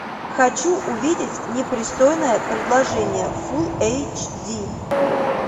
хочу увидеть непристойное предложение фул эйч ди